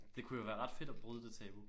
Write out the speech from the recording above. Det kunne jo være ret fedt at bryde det tabu